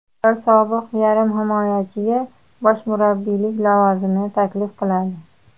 Ular sobiq yarim himoyachiga bosh murabbiylik lavozimini taklif qiladi.